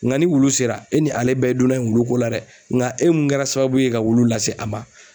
Nga ni wulu sera e ni ale bɛɛ ye donna ye wuluko la dɛ nga e mun kɛra sababu ye ka wulu lase a ma